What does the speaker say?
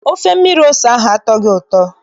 Ofe mmiri ose ahụ atọghị ụtọ.